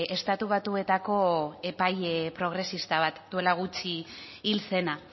estatu batuetako epaile progresista bat duela gutxi hil zena